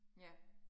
Ja